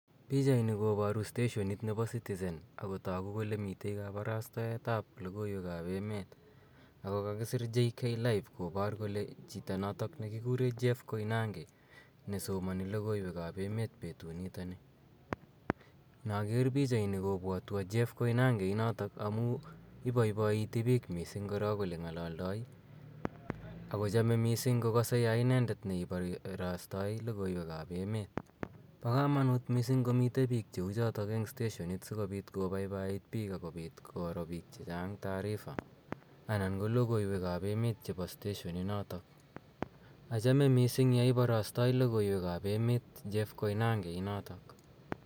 Pichaini koparu steshonit ap Citizen ago tagu kole mi kaparastaet ap logoiweek ap emet ako kakisir JKLIVE kopar kole chito notok ne kikure Jeff Koinange nesomani logoiweek ap emeet petunitani. Inaker pichaini kopwatwa Jeff Koinange inotok amu ipaipaitii pich missing' korok ole ng'alaldai i ako chame missing' kokase ya inendet neiparastai logoiweek ap emet. Pa kamanuut missing' komitei piik che u chotok eng' steshonit si kopiit kopaipait piik ako much koro piik che chang' taarifa anan ko logoiwek ap emet chepo steshoninotok. Achame missing' ya iparastai logoiwek ap et Jeff Koinange inotok.